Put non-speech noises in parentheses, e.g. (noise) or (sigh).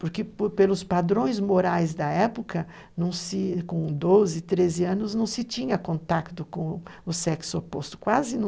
Porque por elos padrões morais da época, com 12, 13 anos, não se tinha contato com o sexo oposto, quase (unintelligible)